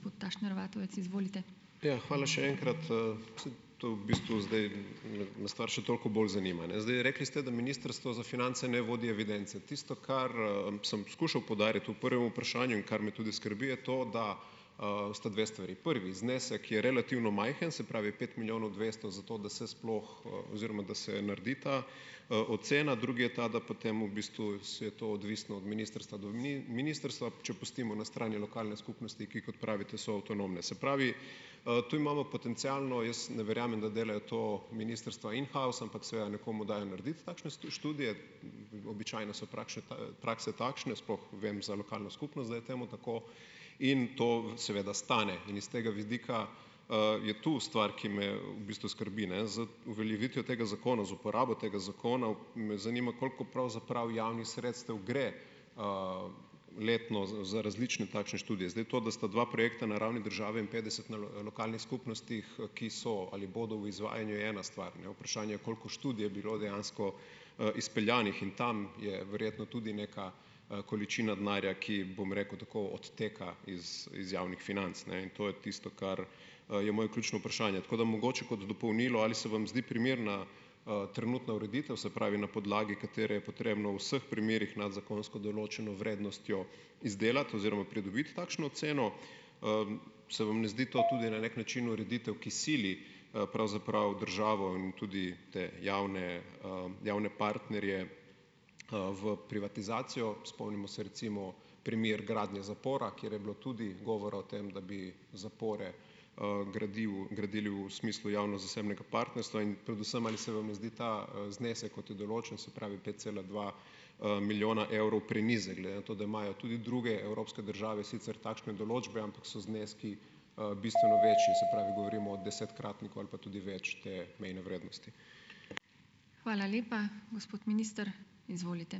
Ja, hvala še enkrat. S, to v bistvu zdaj me stvar še toliko bolj zanima, Zdaj, rekli ste, da Ministrstvo za finance ne vodi evidence. Tisto, kar, sem skušal poudariti v prvem vprašanju in kar me tudi skrbi, je to, da, sta dve stvari, prvi znesek je relativno majhen, se pravi, pet milijonov dvesto za to, da se sploh, oziroma da se naredi ta, ocena, drugi je ta, da potem, v bistvu, je to odvisno od ministrstva do ministrstva, če pustimo na strani lokalne skupnosti, ki, kot pravite, so avtonomne. Se pravi, tu imamo potencialno, jaz ne verjamem, da delajo to ministrstva "in house", ampak seveda, nekomu dajo narediti takšne študije, običajno so prakse takšne, sploh, vem za lokalno skupnost, da je temu tako, in to seveda stane in iz tega vidika, je to stvar, ki me, v bistvu skrbi, Z uveljavitvijo tega zakona, z uporabo tega zakona, me zanima, koliko pravzaprav javnih sredstev gre, letno za različne plačane študije. Zdaj to, da sta dva projekta na ravni države in petdeset na lokalnih skupnostih, ki so ali bodo v izvajanju, je ena stvar, Vprašanje je, koliko študij je bilo dejansko, izpeljanih in tam je verjetno tudi neka, količina denarja, ki, bom rekel, tako odteka iz javnih financ, in to je tisto, kar, je moje ključno vprašanje. Tako da mogoče kot dopolnilo, ali se vam zdi primerna, trenutna ureditev, se pravi, na podlagi katere je potrebno v vseh primerih nad zakonsko določeno vrednostjo izdelati oziroma pridobiti takšno oceno. Se vam ne zdi to tudi na neki način ureditev, ki sili, pravzaprav državo in tudi te javne, javne partnerje, v privatizacijo, spomnimo se recimo primer gradnje zapora, kjer je bilo tudi govora o tem, da bi zapore, gradili v smislu javno-zasebnega partnerstva in predvsem, ali se vam ne zdi ta, znesek, kot je določen, se pravi pet cele dva, milijona evrov, prenizek, glede na to, da imajo tudi druge evropske države sicer takšne določbe, ampak so zneski, bistveno večji, se pravi, govorimo o desetkratniku ali pa tudi več, te mejne vrednosti?